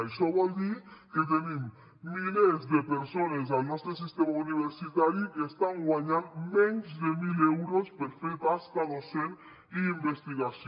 això vol dir que tenim milers de persones al nostre sistema universitari que estan guanyant menys de mil euros per fer tasca docent i investigació